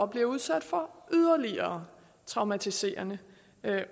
bliver udsat for yderligere traumatiserende